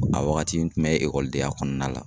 A waagati n kun bɛ denya kɔnɔna la.